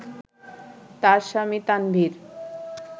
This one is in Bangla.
তার স্বামী তানভীর